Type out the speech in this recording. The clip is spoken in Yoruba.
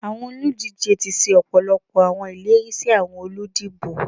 Awọn oludije ti ṣe ọpọlọpọ awọn ileri si awọn oludibo.